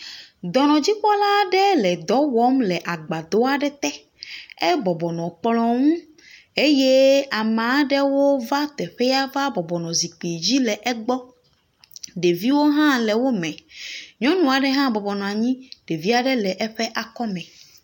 Dɔnɔdzikopɔla aɖe le dɔ wɔm agbadɔ aɖe te. Ebɔbɔ nɔ kplɔ ŋu eye ame aɖewo va teƒea va bɔbɔ nɔ zikpui dzi le egbɔ, ɖeviwo hã le wo me. Nyɔnu aɖe hã bɔbɔ nɔ anyi, ɖevi aɖe le eƒe akɔ me.